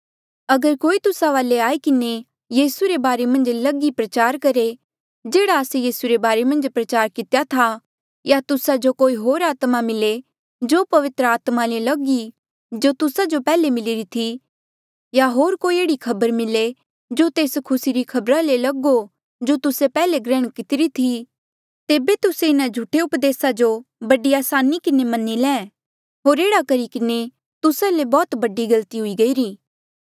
अगर कोई तुस्सा वाले आई किन्हें यीसू रे बारे मन्झ लग ही प्रचार करहे जेह्ड़ा आस्से यीसू रे बारे मन्झ प्रचार कितेया था या तुस्सा जो कोई होर आत्मा मिले जो पवित्र आत्मा ले लग ई जो तुस्सा जो पैहले मिलिरी थी या होर कोई एह्ड़ी खबर मिले जो तेस खुसी री खबरा ले लग हो जो तुस्से पैहले ग्रहण कितिरी थी तेबे तुस्से इन्हा झूठे उपदेसा जो बड़ी असानी किन्हें मनी ले होर एह्ड़ा करी किन्हें तुस्सा ले बौह्त बडी गलती हुई गईरी